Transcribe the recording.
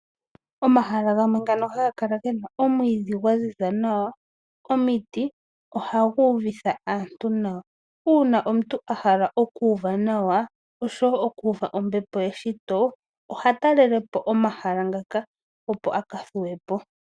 Omahala gamwe ngoka haga kala ge na omwiidhi gwa ziza nawa, omiti ohaga uvitha aantu nawa. Uuna omuntu a hala okuuva nawa noshowo ombepo yeshito oha talele po omahala ngaka, opo a ka thuwe po.